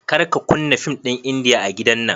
Kar ka kunnan fin ɗin India a gidan nan.